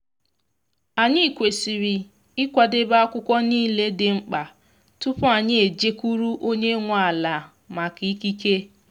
anyị kwesịrị ịkwadebe akwụkwọ niile dị mkpa tupu anyị eje kwuru onye nwe ala maka ikike.